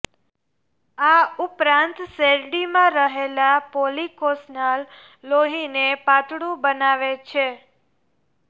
આ ઉપરાંત શેરડીમાં રહેલા પોલીકોસનાલ લોહીને પાતળું બનાવે છે